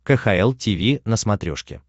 кхл тиви на смотрешке